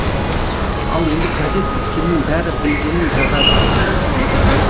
ал енді газет біткеннің бәрі білгенін жазады